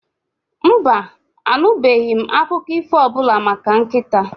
Mba, anụbeghị m akụkọ ífò ọbụla maka nkịta?